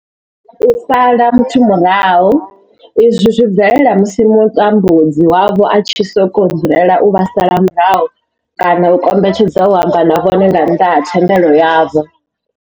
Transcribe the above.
U sala muthu murahu izwi zwi bvelela musi mutambudzi wavho a tshi sokou dzulela u vha sala murahu kana a kombetshedza u amba na vhone nga nnḓa ha thendelo yavho.